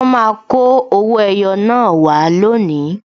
Wọn máa kọ owó ẹyọ naa wá lónìí